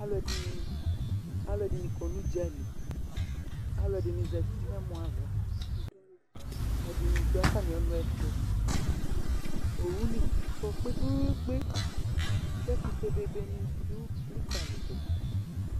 Alu ɛdini alu ɛdini kɔ n'udza lɩ, alu ɛdini zati n'ɛmɔ ava, ɛdini du atami ɔnu ɛtu Owu ni kɔ kpeekpekpekpe ku ɛkutɛ bebe nɩ du likali du